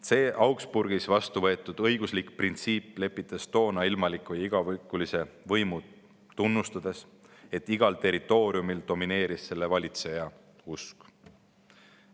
See Augsburgis vastu võetud õiguslik printsiip lepitas toona ilmaliku ja igavikulise võimu, tunnustades, et igal territooriumil domineeris selle valitseja usk.